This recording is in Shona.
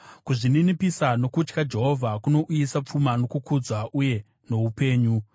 Kuzvininipisa nokutya Jehovha kunouyisa pfuma nokukudzwa uye noupenyu.